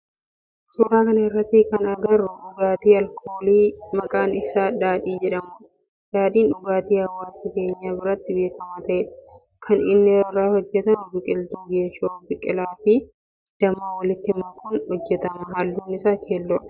Suuraa kana irratti kana agarru dhugaatii alkoolii maqaan isaa daadhii jedhamudha. Daadhiin dhugaati hawwaasa keenya biratti beekama ta'eedha. Kan inni irraa hojjetamu biqiltuu geeshoo, biqila fi damma walitti makuun hojjetama. Halluun isaa keelloodha